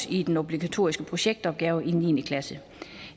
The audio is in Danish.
i den obligatoriske projektopgave i niende klasse